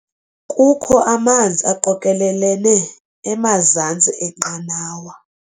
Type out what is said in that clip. Kukho amanzi aqokelelene emazantsi enqanawa.